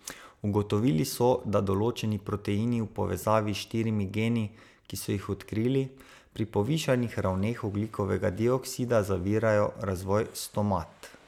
Ugotovili so, da določeni proteini v povezavi s štirimi geni, ki so jih odkrili, pri povišanih ravneh ogljikovega dioksida zavirajo razvoj stomat.